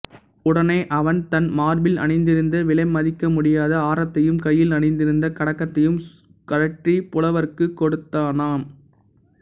உடனே அவன் தன் மார்பில் அணிந்திருந்த விலைமதிக்க முடியாத ஆரத்தையும் கையில் அணிந்திருந்த கடகத்தையும் கழற்றிப் புலவர்க்குக் கொடுத்தானாம்